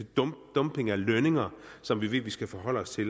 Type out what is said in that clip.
dumping af lønninger som vi ved vi skal forholde os til